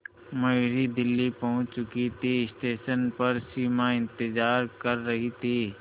मयूरी दिल्ली पहुंच चुकी थी स्टेशन पर सिमा इंतेज़ार कर रही थी